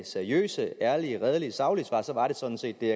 seriøse ærlige redelige og saglige svar så var det sådan set det